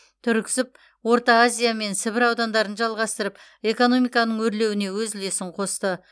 түрксіб орта азия мен сібір аудандарын жалғастырып экономиканың өрлеуіне өз үлесін қосты